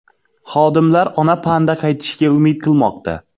Xodimlar ona panda qaytishiga umid qilmoqda.